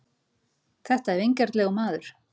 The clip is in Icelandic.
Þetta er vingjarnlegur maður.